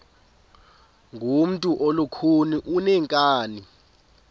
ngumntu olukhuni oneenkani